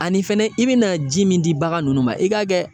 Ani fɛnɛ i be na ji min di bagan nunnu ma i ka kɛ.